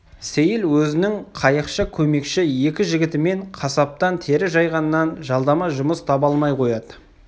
сейіл өзінің қайықшы көмекші екі жігітімен қасаптан тері жайғаннан жалдама жұмыс таба алмай қояды